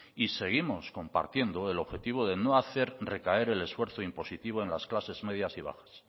seguimos compartiendo el objetivo de no hacer recaer el esfuerzo impositivo en las clases medias y bajas